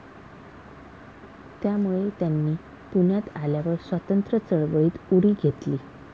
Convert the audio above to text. त्यामुळे त्यांनी पुण्यात आल्यावर स्वातंत्र्यचळवळीत उडी घेतली.